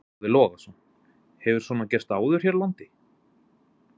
Boði Logason: Hefur svona gerst áður hér á landi?